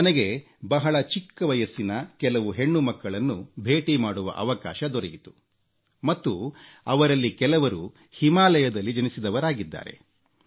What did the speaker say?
ನನಗೆ ಬಹಳ ಚಿಕ್ಕ ವಯಸ್ಸಿನ ಕೆಲವು ಹೆಣ್ಣುಮಕ್ಕಳನ್ನು ಭೇಟಿ ಮಾಡುವ ಅವಕಾಶ ದೊರೆಯಿತು ಮತ್ತು ಅವರಲ್ಲಿ ಕೆಲವರು ಹಿಮಾಲಯದಲ್ಲಿ ಜನಿಸಿದವರಾಗಿದ್ದಾರೆ